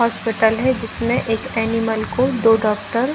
hospital है जिसमे एक एनिमल को दो डॉक्टर --